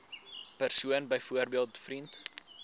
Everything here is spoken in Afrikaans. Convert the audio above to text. persoon byvoorbeeld vriend